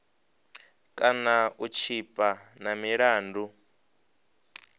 kana u tshipa na milandu